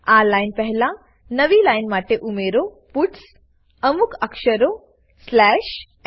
આ લાઈન પહેલા નવી લાઈન માટે ઉમેરો પટ્સ અમુક અક્ષરો સ્લેશ ન